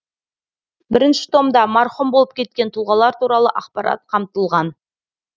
бірінші томда марқұм болып кеткен тұлғалар туралы ақпарат қамтылған